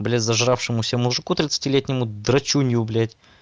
бля зажравшемуся мужику тридцати летнему драчунью блять